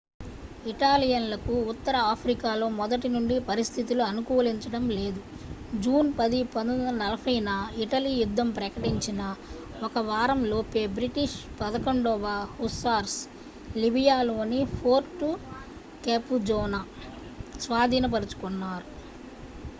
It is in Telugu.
ఇటాలియన్లకు ఉత్తర ఆఫ్రికాలో మొదటినుండి పరిస్థితులు అనుకూలించడం లేదు. జూన్ 10 1940న ఇటలీ యుద్ధం ప్రకటించిన ఒక వారంలోపే బ్రిటిష్ 11వ hussars లిబియాలోని fort capuzzoను స్వాధీనపరచుకొన్నారు